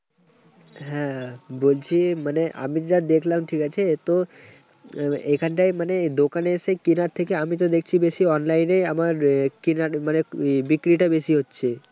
হ্যাঁ, বলছি মানে আমি যা দেখলাম ঠিক আছে। তো এখানটায় মানে দোকানে এসে কেনার থেকে আমি তো দেখছি বেশি online এ আমার কেনার মানে বিক্রিটা বেশি হচ্ছে।